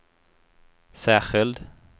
särskild